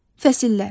Fəsillər.